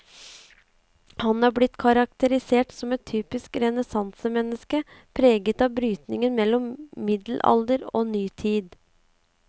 Han er blitt karakterisert som et typisk renessansemenneske, preget av brytningen mellom middelalder og nytid.